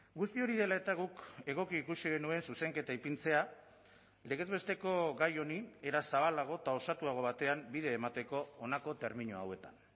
guzti hori dela eta guk egoki ikusi genuen zuzenketa ipintzea legez besteko gai honi era zabalago eta osatuago batean bide emateko honako termino hauetan